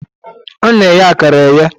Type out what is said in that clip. a na-eghe akara eghe.